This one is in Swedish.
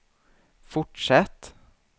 fortsätt